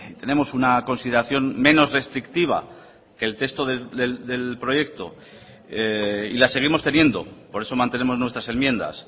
tenemos una consideración menos restrictiva que el texto del proyecto y la seguimos teniendo por eso mantenemos nuestras enmiendas